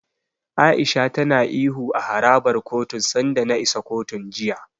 A'isha tana ihu a harabar kotun sanda na isa kotun, jiya.